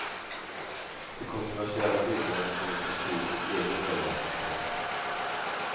De kontroversiella bilderna kommer från polisens egen övervakningskamera.